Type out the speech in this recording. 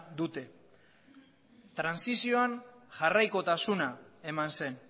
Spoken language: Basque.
dute trantsizioan jarraikotasuna eman zen